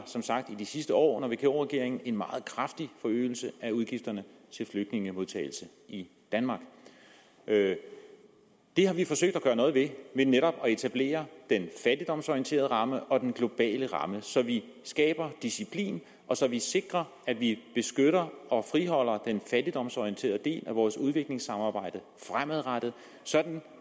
som sagt i de sidste år under vk regeringen en meget kraftig forøgelse af udgifterne til flygtningemodtagelse i danmark det har vi forsøgt at gøre noget ved ved netop at etablere den fattigdomsorienterede ramme og den globale ramme så vi skaber disciplin og så vi sikrer at vi beskytter og friholder den fattigdomsorienterede del af vores udviklingssamarbejde fremadrettet sådan